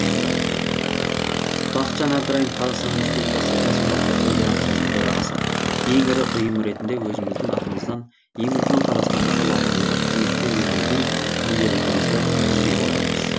бақытжан әбдірайым қазақстан республикасы кәсіподақтар федерациясының төрағасы ең ірі ұйым ретінде өзіміздің атымыздан ең үлкен қазақстандағы лауазымдық қызметке өзіміздің кандидатымызды ұсынып отырмыз